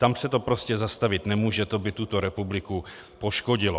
Tam se to prostě zastavit nemůže, to by tuto republiku poškodilo.